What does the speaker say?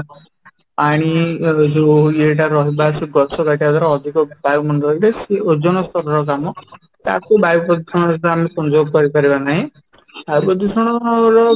ପାଣି ଯୋଉ ଏୟ ଟା ରହିବା ଯୋଉ ଗଛ କାଟିବା ଦ୍ୱାରା ଅଧିକ ବାୟୁ ମଣ୍ଡଳ ରେ ସେ ଓଜନ ସ୍ତର ର କାମ ତାକୁ ବାୟୂପ୍ରଦୂଷଣ ସହିତ ଆମେ ସଂଯୋଗ କରିପାରିବା ନାହିଁ ବାୟୁ ପ୍ରଦୂଷଣ ର